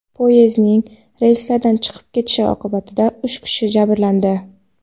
Poyezdning relslardan chiqib ketishi oqibatida uch kishi jabrlandi.